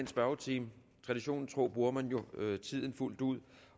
spørgetimen traditionen tro bruger man jo tiden fuldt ud